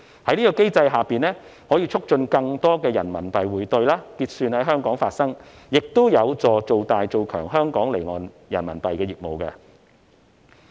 這個機制可以促進更多人民幣匯兌、結算在香港發生，亦有助做大、做強香港離岸人民幣業務。